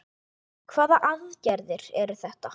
Hvaða aðgerðir eru það?